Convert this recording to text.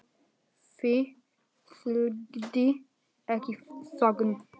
Því fylgdi ekki þögn.